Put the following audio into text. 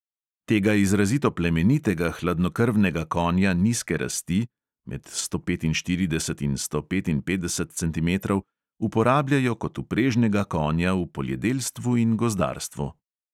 Tega izrazito plemenitega hladnokrvnega konja nizke rasti (med sto petinštirideset in sto petinpetdeset centimetrov) uporabljajo kot vprežnega konja v poljedelstvu in gozdarstvu.